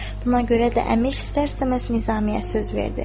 Buna görə də əmir istər-istəməz Nizamiyə söz verdi.